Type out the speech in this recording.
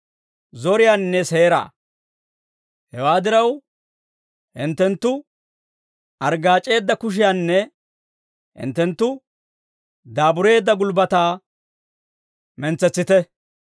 Hewaa diraw, hinttenttu arggaac'eedda kushiyaanne hinttenttu daabureedda gulbbataa mentsetsite.